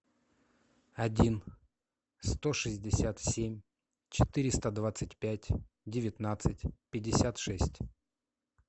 один сто шестьдесят семь четыреста двадцать пять девятнадцать пятьдесят шесть